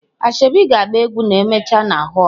Asoebi ga agba egwu ma emechaa na hoolụ.